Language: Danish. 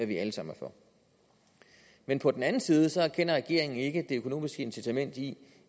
vi alle sammen er for men på den anden side erkender regeringen ikke det økonomiske incitament i